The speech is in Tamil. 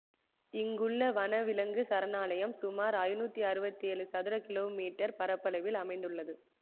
இங்குள்ள வனவிலங்கு சரணாலயம் சுமார் ஐநூற்றி அறுபத்தி ஏழு சதுர கிலோ மீட்டர் பரப்பளவில் அமைந்துள்ளது